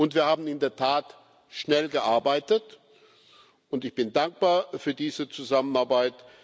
Wir haben in der Tat schnell gearbeitet, und ich bin dankbar für diese Zusammenarbeit.